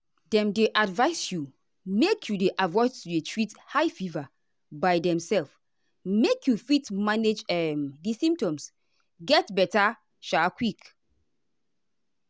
dem dey advise you make you dey avoid to dey treat high fever by demself make you fit manage um di symptoms get beta sha quick.